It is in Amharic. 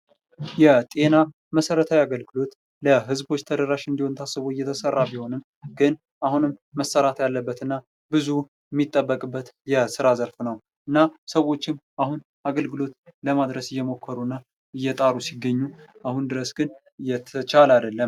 የጤና መሰረታዊ የአገልግሎት ለህዝቦች ተደራሽ እንዲሆን ታስቦ እየተሰራ ቢሆንም ግን አሁንም መሰራት ያለበትና ብዙ የሚጠበቅበት የስራ ዘርፍ ነው:: እና ሰዎችም አሁን አገልግሎት ለማድረስ እየሞከሩና እየጣሩ ሲገኙ አሁን ድረስ ግን እየተቻለ አይደለም ::